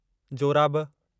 जोराबु